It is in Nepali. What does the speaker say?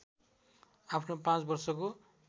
आफ्नो पाँच वर्षको